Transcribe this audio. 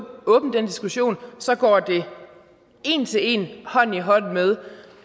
åbne den diskussion så går det en til en hånd i hånd med